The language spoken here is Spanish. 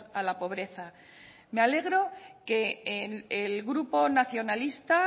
a la pobreza me alegro que el grupo nacionalista